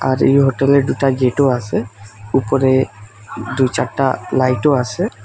আর এই হোটেলে দুটা গেটও আসে উপরে দুই চারটা লাইটও আসে।